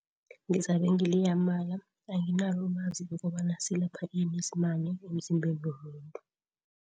Ngizabe ngileya amala. Anginalo ilwazi lokobana silapha ini isimane emzimbeni womuntu.